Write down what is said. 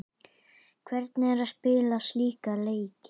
Hvernig er að spila slíka leiki?